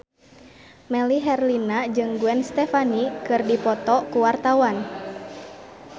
Melly Herlina jeung Gwen Stefani keur dipoto ku wartawan